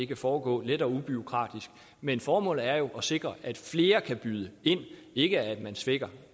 det foregå let og ubureaukratisk men formålet er jo at sikre at flere kan byde ind ikke at man svækker